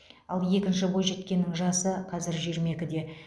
ал екінші бойжеткеннің жасы қазір жиырма екіде